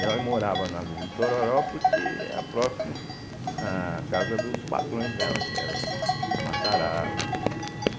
Ela morava na Vila Itororó porque era próximo à casa dos patrões dela, que eram os Matarazos, né?